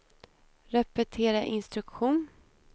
repetera instruktion